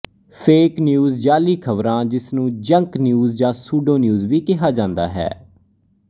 fake news ਜਾਅਲੀ ਖ਼ਬਰਾਂ ਜਿਸ ਨੂੰ ਜੰਕ ਨਿਊਜ਼ ਜਾਂ ਸੂਡੋ ਨਿਊਜ਼ ਵੀ ਕਿਹਾ ਜਾਂਦਾ ਹੈ